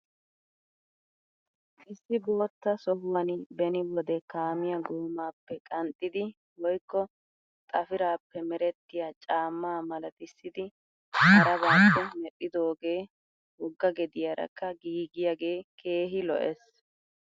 Issi bootta sohuwan beni wode kaamiya goomaappe qanxxidi woykko xafirappe merettiya caamma malatissidi harabaappe medhdhidoogee wogga gediyaarakka giigiyaagee keehi lo'es.